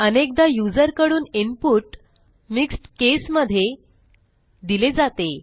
अनेकदा युजरकडून इनपुटmixed केस मध्ये दिले जाते